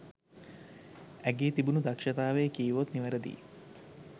ඇගේ තිබුණු දක්ෂතාවය කීවොත් නිවැරදියි.